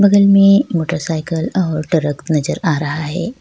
बगल में मोटरसाइकिल और ट्रक नजर आ रहा है --